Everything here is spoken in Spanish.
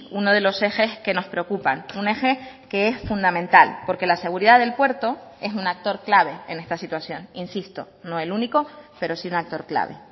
uno de los ejes que nos preocupan un eje que es fundamental porque la seguridad del puerto es un actor clave en esta situación insisto no el único pero sí un actor clave